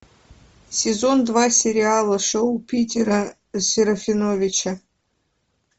сезон два сериала шоу питера серафиновича